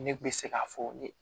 Ne kun bɛ se k'a fɔ ne